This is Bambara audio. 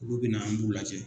Olu bina an b'u lajɛ.